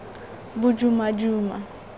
bodumaduma